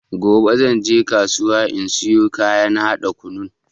Gobe zanje kasuwa in siyo kayan haɗa kunun.